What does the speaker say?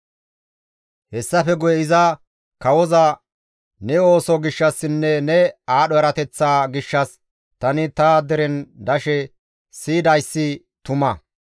Hessafe guye iza kawoza, «Ne ooso gishshassinne ne aadho erateththaa gishshas tani ta deren dashe siyidayssi tuma.